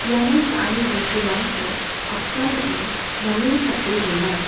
iano cha·ani bosturangko apsan ong·e name chape dona.